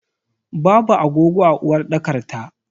Babu agogo a uwarɗakar ta.